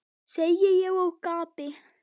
segi ég og gapi.